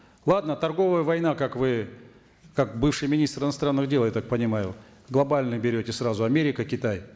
ладно торговая война как вы как бывший министр иностранных дел я так понимаю глобально берете сразу америка китай